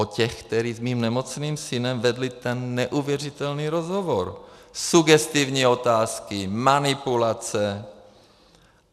O těch, kteří s mým nemocným synem vedli ten neuvěřitelný rozhovor, sugestivní otázky, manipulace.